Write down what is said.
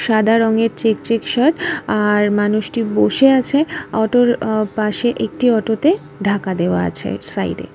সাদা রঙের check check shirt | আর মানুষটি বসে আছে অটোর পাশে | একটি অটোতে ঢাকা দেওয়া আছে সাইড এ।